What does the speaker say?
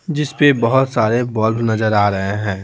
जिस पे बहुत सारे बल्ब नजर आ रहे हैं।